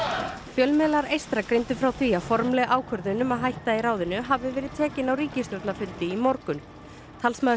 fjölmiðlar eystra greindu frá því að formleg ákvörðun um að hætta í ráðinu hafi verið tekin á ríkisstjórnarfundi í morgun talsmaður